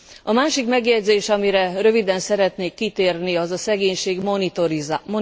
A másik megjegyzés, amire röviden szeretnék kitérni, az a szegénység monitorizálása.